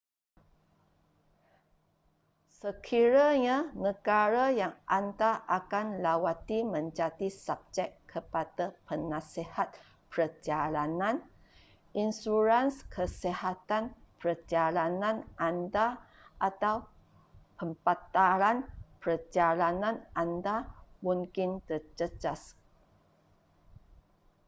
sekiranya negara yang anda akan lawati menjadi subjek kepada penasihat perjalanan insurans kesihatan perjalanan anda atau pembatalan perjalanan anda mungkin terjejas